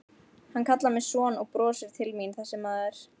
Hann kallar mig son og brosir til mín þessi maður.